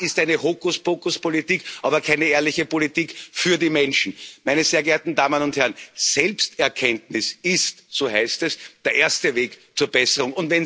Das ist eine Hokuspokuspolitik, aber keine ehrliche Politik für die Menschen. Meine sehr geehrten Damen und Herren! Selbsterkenntnis ist so heißt es der erste Weg zur Besserung.